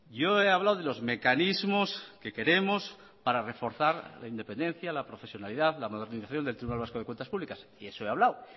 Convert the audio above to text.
yo he hablado de los mecanismos que queremos para reforzar la independencia la profesionalidad la modernización del tribunal vasco de cuentas publicas y eso he hablado